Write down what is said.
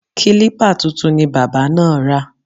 Kílípà tuntun ni bábà náà ra